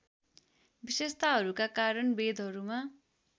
विशेषताहरूका कारण वेदहरूमा